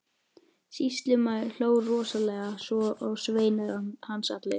Sýslumaður hló rosalega, svo og sveinar hans allir.